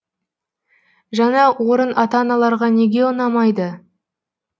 жаңа орын ата аналарға неге ұнамайды